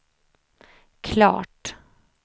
klart